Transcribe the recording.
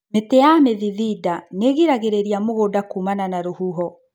Mĩti ya mĩthithinda nĩigiragĩrĩria mũgũnda kumana na rũhuho.